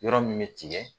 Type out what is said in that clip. Yɔrɔ min bɛ tigɛ